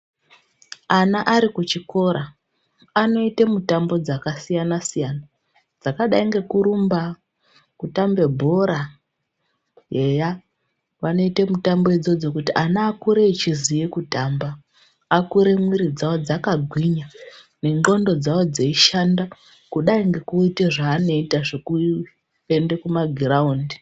Ana ari kuchikora anoite mutambo dzakasiyansiyana dzakadai ngekurumba, kutambe bhora, eya, vanoite mitambo idzodzo kuti ana akure achiziye kutamba, akure mwiri dzawo dzakagwinya nendxondo dzawo dzeishanda kudai ngekuite zvaanoita zvekuende kuma giraundi.